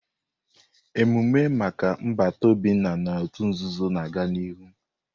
Emume maka nbata Obinna n'òtù nzuzo na-aga n'ihu.